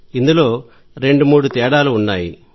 ఇందులో రెండు మూడు తేడాలు ఉన్నాయి